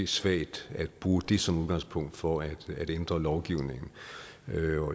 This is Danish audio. svagt at bruge det som udgangspunkt for at ændre lovgivningen